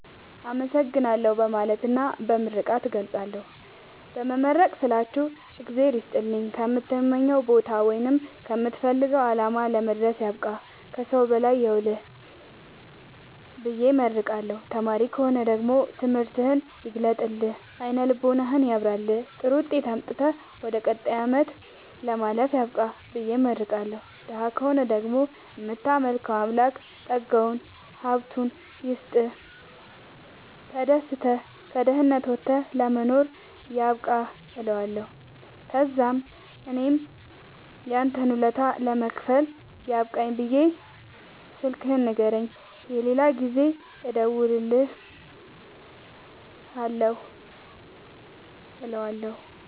አመሠግናለሁ በማለትና በመመረቅ እገልፃለሁ። በመመረቅ ስላችሁ እግዚአብሄር ይስጥልኝ ከምትመኘዉ ቦታወይም ከምትፈልገዉ አላማ ለመድረስያብቃህ ከሠዉ በላይ ያዉልህብየ እመርቀዋለሁ። ተማሪ ከሆነ ደግሞ ትምህርትህን ይግለጥልህ አይነ ልቦናህን ያብራልህ ጥሩዉጤት አምጥተህ ወደ ቀጣይ አመት ለማለፍ ያብቃህ ብየ እመርቀዋለሁ። ደሀ ከሆነ ደግሞ እምታመልከዉ አምላክ ጠጋዉን ሀብቱይስጥህ ተደስተህ ከድህነት ወተህ ለመኖር ያብቃህእለዋለሁ። ተዛምእኔም ያንተን ወለታ ለመክፈል ያብቃኝ ብየ ስልክህን ንገረኝ የሌላ ጊዜ እንድደዉልልህ እለዋለሁ